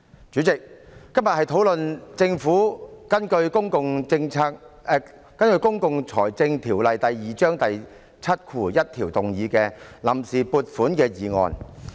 主席，今天討論的是政府根據《公共財政條例》第71條提出的臨時撥款決議案。